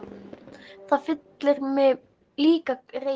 Það fyllir mig líka reiði.